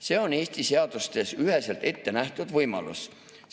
See on Eesti seadustes üheselt ette nähtud võimalus.